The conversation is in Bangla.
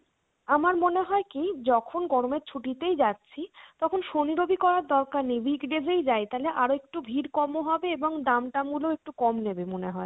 আমার মনে হয় কি যখন গরমের ছুটিতেই যাচ্ছি তখন শনি রবি করার দরকার নেই weekdays এই যাই তাহলে আরেকটু ভিড় কমও হবে, আর দাম টাম গুলো একটু কম নিবে মনে হয়